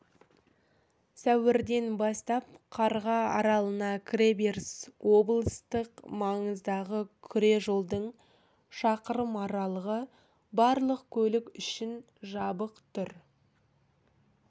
сәуірден бастап қарға аралына кіреберіс облыстық маңыздағы күре жолдың шақырым аралығы барлық көлік үшін жабық тұр